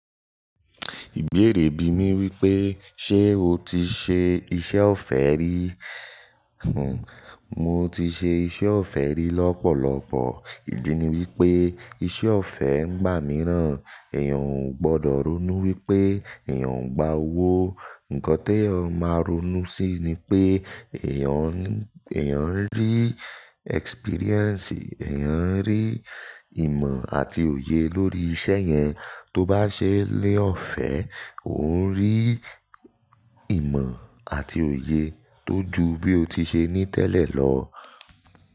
Ìbéèrè bí i mí wípé, ṣe o ti ṣe iṣẹ́ ọ̀fẹ́ rí? Hhm, mo ti ṣe iṣẹ́ ọ̀fẹ́ rí lọ́pọ̀lọ́pọ̀. Ìdí ni wípé iṣẹ́ ọ̀fẹ́ ń gbà mí rán. Èèyàn ò gbọdọ̀ ronú wípé èèyàn ń gba owó. Ǹkan teeyan máa ronú sí ni pé èèyàn ń, èèyàn ń rí experience, èèyàn ń rí ìmọ̀ àti òye lórí iṣẹ́ yẹn. Tó bá ṣe ni ọ̀fẹ́, ò ń rí ìmọ̀ àti òye tó ju bí o ti ṣe ní tẹ́lẹ̀ lọ.